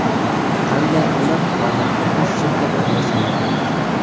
Qanday qilib qomatga mos sumka tanlash mumkin?.